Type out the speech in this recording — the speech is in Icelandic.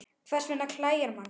Hvers vegna klæjar mann?